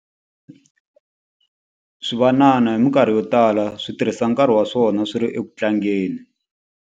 Swivanana hi mikarhi yo tala swi tirhisa nkarhi wa swona swi ri eku tlangeni.